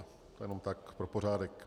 To jenom tak pro pořádek.